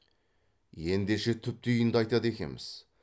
ендеше түп түйінді айтады екеміз